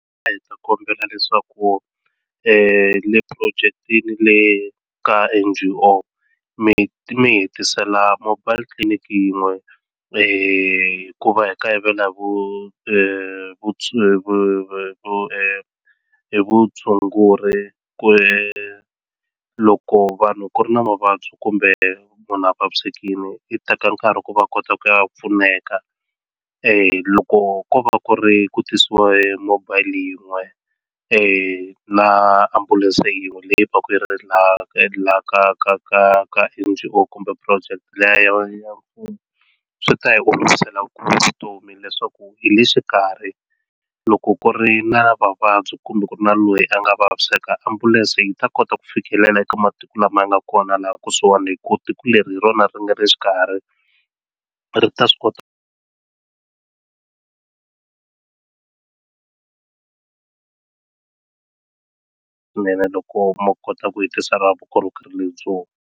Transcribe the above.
A hi ta kombela leswaku le phurojekitini le ka N_G_O mi mi hitisela mobile clinic yin'we hikuva hi kayivela vu vu hi vutshunguri ku ri loko vanhu ku ri na mavabyi kumbe munhu a vavisekile yi teka nkarhi ku va kota ku ya pfuneka loko ko va ku ri ku tisiwa hi mobile yin'we la ha ambulense yin'we leyi va ku ri laha ku endlelaka ka ka ka N_G_O kumbe project leyin'wanyana mfumo swi ta hi olovisela ku vutomi leswaku hi le xikarhi loko ku ri na vavabyi kumbe ku na loyi a nga vaviseka ambulense yi ta kota ku fikelela eka matiko lama nga kona laha kusuhana hi ku tiko leri hi rona ri nga ri xikarhi ri ta swi kota swinene loko ma kota ku hi tisela vukorhokeri lebyiwa.